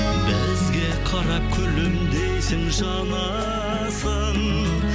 бізге қарап күлімдейсің жанасың